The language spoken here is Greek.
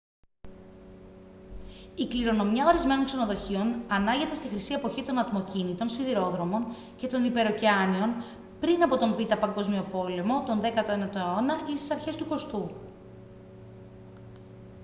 η κληρονομιά ορισμένων ξενοδοχείων ανάγεται στη χρυσή εποχή των ατμοκίνητων σιδηροδρόμων και των υπερωκεάνιων πριν από τον β΄ παγκόσμιο πόλεμο τον 19ο αιώνα ή στις αρχές του 20ού